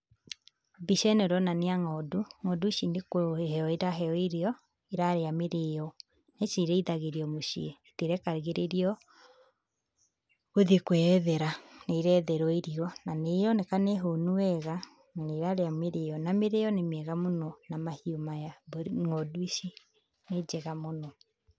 Mbica ĩno ĩronania ng'ondu, ng'ondu ici nĩ kũheo iraheo irio, irarĩa mĩrĩo, ici irĩithagĩrio mũciĩ, itirekagĩrĩrio gũthiĩ kwĩyethera, nĩ iretherwo irio, na nĩ ironeka nĩ hũnu wega, na nĩ irarĩa mĩrio, na mĩrĩo nĩ mĩega mũno na mahiũ maya, ng'ondu ici nĩ njega mũno.